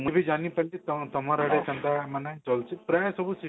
ମୁଁ ବି ଯାନୀ ପାରିଲି କାଣା ତମର ଆଡେ ସେନ୍ତା ମାନେ ଚାଲୁଛି ପ୍ରାଏ ସବୁ system